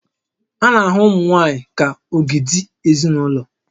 A na-ahụ ụmụ nwaanyị ka ogidi ezinaụlọ